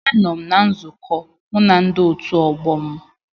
Anọ m na nzukọ mụ na ndi otu ọgbọ m